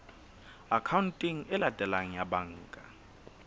akhaonteng e latelang ya banka